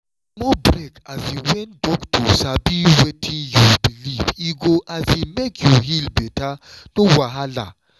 small break um when docta sabi wetin you believe e go um make you heal better no wahala.